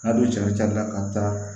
N'a dun cara ca la ka taa